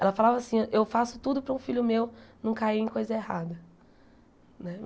Ela falava assim, eu faço tudo para um filho meu não cair em coisa errada né.